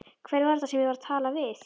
Hver var þetta sem ég var að tala við?